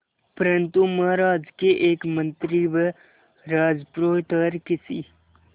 परंतु महाराज के एक मंत्री व राजपुरोहित हर किसी